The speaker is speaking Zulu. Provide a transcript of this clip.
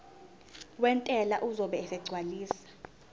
wentela uzobe esegcwalisa